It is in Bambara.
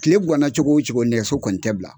Tile ganna cogo o cogo nɛgɛso kɔni tɛ bila